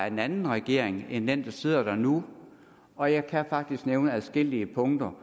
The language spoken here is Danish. en anden regering end den der sidder der nu og jeg kan faktisk nævne adskillige punkter